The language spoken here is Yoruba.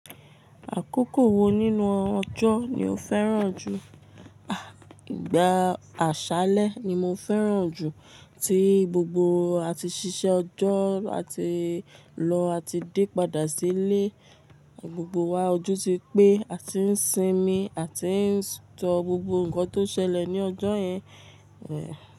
Àkókò wo nínú ọjọ́ ni o fẹ́ràn jù? Àh, ìgbà àṣálẹ́ ni mo fẹ́ràn jù, tí gbogbo ati ṣiṣẹ́ ọjọ́, a ti lọ a ti dé padà sí ilé, gbogbo wa ojú ti pé, a ti ń sinmi, a ti ń sọ gbogbo nǹkan tó ṣẹlẹ̀ ní ọjọ́ yẹn, ẹ́!